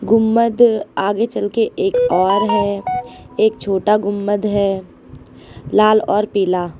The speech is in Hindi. गुंबद आगे चलके एक और है एक छोटा गुंबद है लाल और पीला।